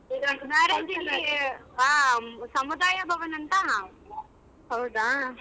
ಹೌದಾ.